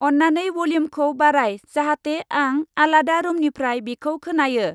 अन्नानै वल्यु्मखौ बाराय जाहाथे आं आलादा रुमनिफ्राय बिखौ खोनायो।